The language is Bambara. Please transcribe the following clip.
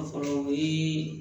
A fɔlɔ o ye